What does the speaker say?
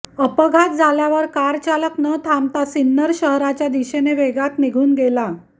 अपघात झाल्यावर कारचालक न थांबता सिन्नर शहराच्या दिशेने वेगात निघून गेला